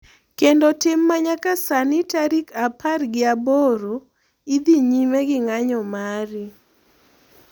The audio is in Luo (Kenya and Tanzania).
Kendo tim ma nyaka sani tarik apar gi aboro, idhi nyime gi ng'anyo mari.